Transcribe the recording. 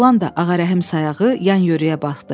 Oğlan da Ağarəhim sayağı yan-yörəyə baxdı.